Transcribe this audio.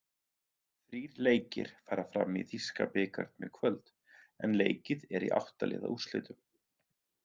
Þrír leikir fara fram í þýska bikarnum í kvöld, en leikið er í átta-liða úrslitum.